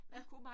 Ja